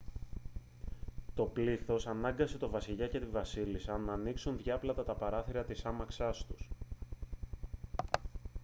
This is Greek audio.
το πλήθος ανάγκασε τον βασιλιά και τη βασίλισσα να ανοίξουν διάπλατα τα παράθυρα της άμαξάς τους